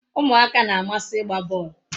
Umuaka na-amasi igba bol